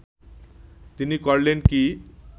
তিনি করলেন কি